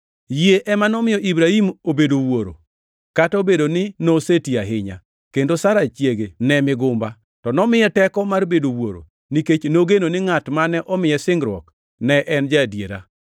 Yie ema nomiyo Ibrahim obedo wuoro, kata obedo ni noseti ahinya, kendo Sara chiege ne migumba, to nomiye teko mar bedo wuoro nikech nogeno ni ngʼat mane omiye singruok ne en ja-adiera.